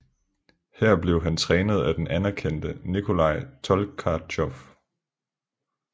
Her blev han trænet af den anerkendte Nikolaj Tolkatjov